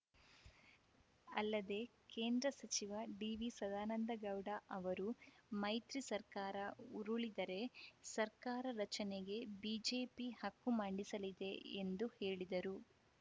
ಅಲ್ಲದೆ ಕೇಂದ್ರ ಸಚಿವ ಡಿವಿ ಸದಾನಂದಗೌಡ ಅವರು ಮೈತ್ರಿ ಸರ್ಕಾರ ಉರುಳಿದರೆ ಸರ್ಕಾರ ರಚನೆಗೆ ಬಿಜೆಪಿ ಹಕ್ಕು ಮಂಡಿಸಲಿದೆ ಎಂದು ಹೇಳಿದರು